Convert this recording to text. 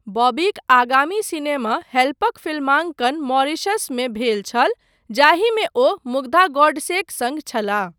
बॉबीक आगामी सिनेमा 'हेल्प'क फिल्मांकन मॉरीशसमे भेल छल जाहिमे ओ मुग्धा गोडसेक सङ्ग छलाह।